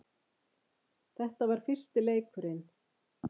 Þetta var fyrsti leikurinn